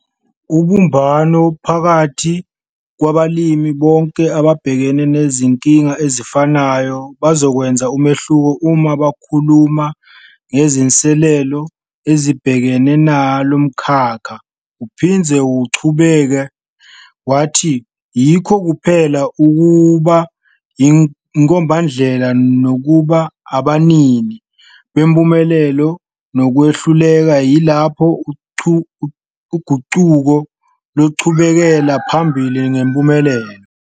Ubumbano phakathi kwabalimi, bonke ababhekana nezinkinga ezifanayo, bazokwenza umehluko uma bekhuluma ngezinselelo ezibhekene nalo mkhakha. Uphinde waqhubeka wathi yikho kuphela ukuba yinkombandlela nokuba abanini bempumelelo nokwehluleka yilapho uguquko luzoqhubekela phambili ngempumelelo.